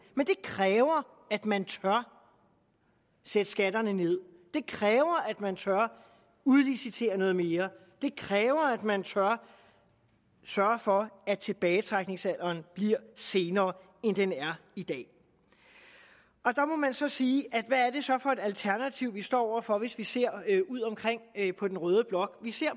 men det kræver at man tør sætte skatterne ned det kræver at man tør udlicitere noget mere det kræver at man tør sørge for at tilbagetrækningsalderen bliver senere end den er i dag der må man så sige hvad er det så for et alternativ vi står over for hvis vi ser på den røde blok vi ser